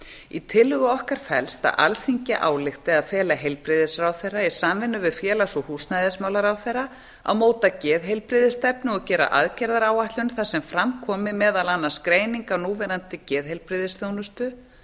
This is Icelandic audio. í tillögu okkar felst að alþingi álykti að fela heilbrigðisráðherra í samvinnu við félags og húsnæðismálaráðherra að móta geðheilbrigðisstefnu og gera aðgerðaáætlun þar sem fram komi meðal annars greining á núverandi geðheilbrigðisþjónustu